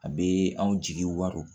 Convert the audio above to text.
A bɛ anw jigi wa